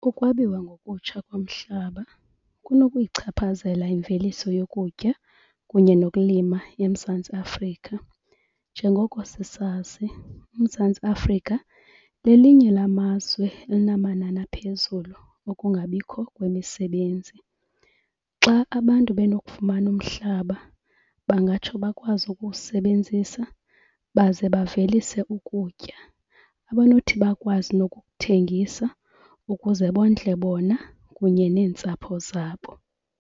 Ukwabiwa ngokutsha komhlaba kuno kuyichaphazela imveliso yokutya kunye nokulima eMzantsi Afrika. Njengoko sisazi uMzantsi Afrika lelinye lwamazwe elinamanani aphezulu okungabikho kwemisebenzi. Xa abantu benokufumana umhlaba bangatsho bakwazi ukuwusebenzisa baze bavelise ukutya abanothi bakwazi nokukuthengisa ukuze bondle bona kunye neentsapho zabo.